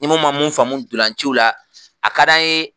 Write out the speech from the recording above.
Ni mun ma mun faamu dolanaci la, a ka di an ye